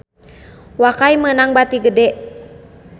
Wakai meunang bati gede